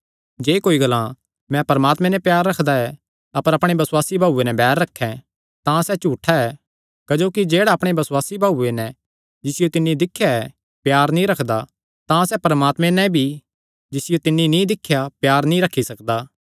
जे कोई ग्लां मैं परमात्मे नैं प्यार रखदा ऐ अपर अपणे बसुआसी भाऊये नैं बैर रखैं तां सैह़ झूठा ऐ क्जोकि जेह्ड़ा अपणे बसुआसी भाऊये नैं जिसियो तिन्नी दिख्या ऐ प्यार नीं रखदा तां सैह़ परमात्मे नैं भी जिसियो तिन्नी नीं दिख्या प्यार नीं रखी सकदा